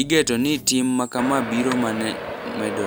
Igeto ni tim makama biro mane medore.